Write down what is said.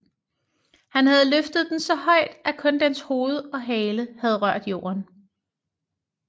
Han havde løftet den så højt at kun dens hoved og hale havde rørt jorden